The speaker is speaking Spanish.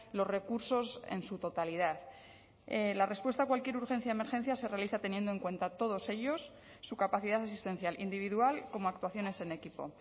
los recursos en su totalidad la respuesta a cualquier urgencia de emergencia se realiza teniendo en cuenta a todos ellos su capacidad asistencial individual como actuaciones en equipo